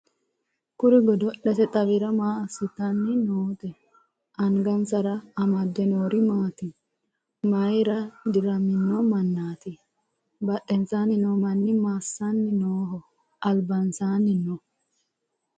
kuri godo'lete xawira maa assitanni noote? angansara amade noori maati? mayeera diramino mannaati? badhensaanni noo manni massanni nooho? albansaanni nooho?